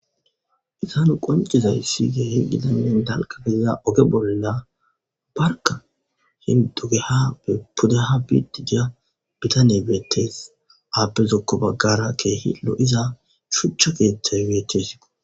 izanu qoncizayssi keehi gidanne dalga beiza oge bolla barka hindugeha be pudaha biddidiya bitane beettes aappezokko baggara keehi lo7iza shuchcha geetey weetesio